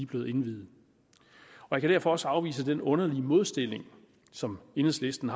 blevet indviet jeg kan derfor også afvise den underlige modsætning som enhedslisten